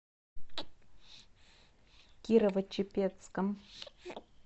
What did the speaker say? кирово чепецком